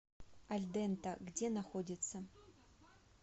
альдента где находится